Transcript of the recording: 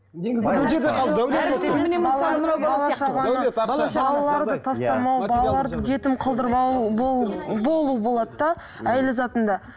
балаларды жетім қылдырмау болу болу болады да әйел затында